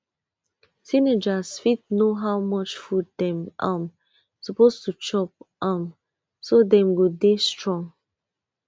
teenagers fit know how much food dem um suppose to chop um so dem go dey strong